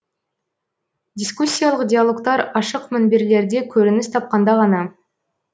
дискуссиялық диалогтар ашық мінберлерде көрініс тапқанда ғана